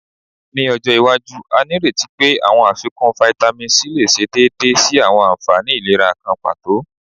Ni ojo iwaju, a nireti pe awọn afikun Vitamin C le ṣe deede si awọn anfani ilera kan pato